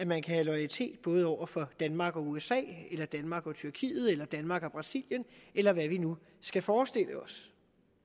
man kan have loyalitet over for danmark og usa eller danmark og tyrkiet eller danmark og brasilien eller hvad vi nu skal forestille os